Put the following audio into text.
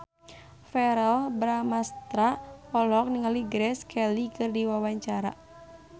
Verrell Bramastra olohok ningali Grace Kelly keur diwawancara